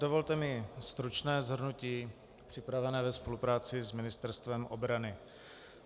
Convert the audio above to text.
Dovolte mi stručné shrnutí připravené ve spolupráci s Ministerstvem obrany.